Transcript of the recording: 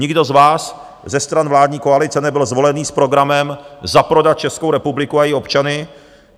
Nikdo z vás, ze stran vládní koalice, nebyl zvolený s programem zaprodat Českou republiku a její občany.